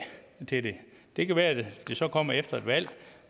til det det kan være det så kommer efter et valg